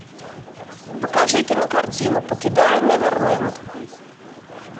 покажи кинокартину покидая неверленд